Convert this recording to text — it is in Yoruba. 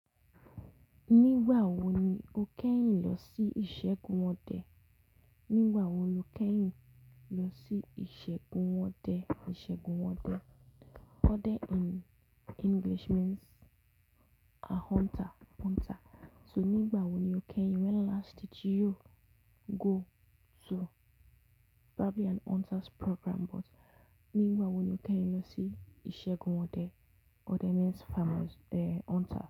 Nígbà wo ni o kẹ́yìn lọ sí ìṣègùn ọdẹ? Nígbà wo lo kẹ́yìn lọ sí ìṣègùn ọdẹ? Ìṣègùn ọdẹ. Ọdẹ in English means a hunter, hunter. So nígbà wo ni o kẹ́yìn when last did you go to probably an hunter's program but nígbà wo ni o kẹ́yìn lọ sí ìṣègùn ọdẹ? Ọdẹ means farmer's eh hunter.